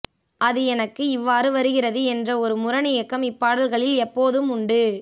அது எனக்கு இவ்வாறு வருகிறது என்ற ஒரு முரணியக்கம் இப்பாடல்களில் எப்போதும் உண்டு